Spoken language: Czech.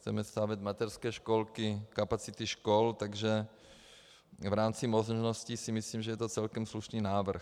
Chceme stavět mateřské školky, kapacity škol, takže v rámci možností si myslím, že je to celkem slušný návrh.